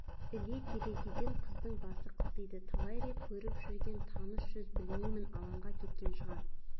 іле терезеден қыздың басы қылтиды талай рет көріп жүрген таныс жүз білмеймін алаңға кеткен шығар